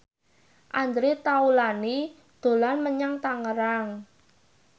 Andre Taulany dolan menyang Tangerang